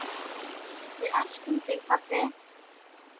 Við elskum þig, pabbi.